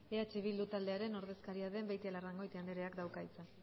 eh bildu taldearen ordezkaria den beitialarrangoitia andreak dauka hitza